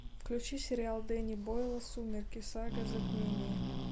включи сериал дэнни бойла сумерки сага затмение